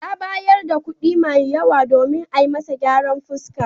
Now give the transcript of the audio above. Ya bayar da kuɗi mai yawa domin ayi masa gyaran fuska.